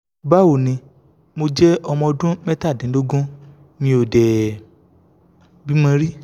bawo ni mo je omo odun metadinlogun mi o de bimo ri